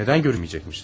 Nədən görməyəcəkmişiz?